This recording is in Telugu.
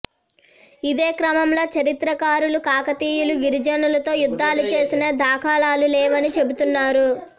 ఇదే క్రమంలో చరిత్రకారులు కాకతీయులు గిరిజనులతో యుద్ధాలు చేసిన దాఖలాలు లేవని చెబుతున్నారు